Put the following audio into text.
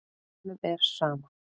Honum er sama.